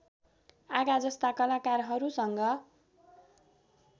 आगा जस्ता कलाकारहरूसँग